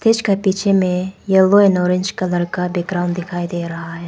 इसके पीछे में येलो एंड ऑरेंज कलर का भी ग्राउंड दिखाई दे रहा है।